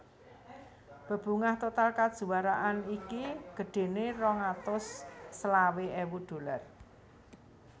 Bebungah total kajuwaraan iki gedhéné rong atus selawe èwu dolar